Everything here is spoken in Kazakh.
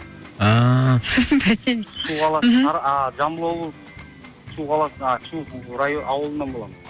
ааа бәсе шу қаласы аа жамбыл облысы шу қаласы аа шу ауылынан боламын